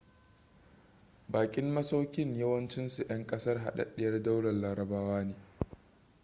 bakin masaukin yawancinsu 'yan kasar hadaddiyar daular larabawa ne